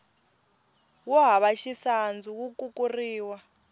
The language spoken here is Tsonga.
wo hava xisandzu wu kukuriwa